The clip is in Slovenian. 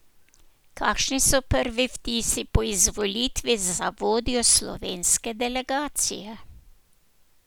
Kakšni so prvi vtisi po izvolitvi za vodjo slovenske delegacije?